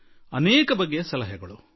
ವೈವಿಧ್ಯಪೂರ್ಣವಾಗಿರುತ್ತವೆ